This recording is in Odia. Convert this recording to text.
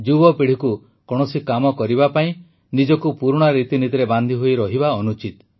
ଯୁବପିଢ଼ିକୁ କୌଣସି କାମ କରିବା ପାଇଁ ନିଜକୁ ପୁରୁଣା ରୀତିନୀତିରେ ବାନ୍ଧିହୋଇ ରହିବା ଅନୁଚିତ